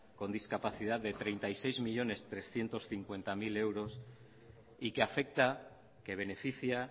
con discapacidad de treinta y seis millónes trescientos cincuenta mil euros y que afecta que beneficia